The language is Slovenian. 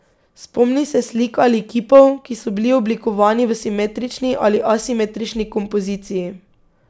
Spomni se slik ali kipov, ki so bili oblikovani v simetrični ali asimetrični kompoziciji.